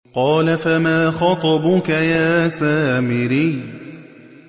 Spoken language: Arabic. قَالَ فَمَا خَطْبُكَ يَا سَامِرِيُّ